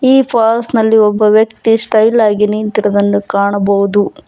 ಈ ಫಾಲ್ಸ್ ನಲ್ಲಿ ಒಬ್ಬ ವ್ಯಕ್ತಿ ಸ್ಟೈಲಾಗಿ ನಿಂತಿರುವುದನ್ನು ಕಾಣಬಹುದು.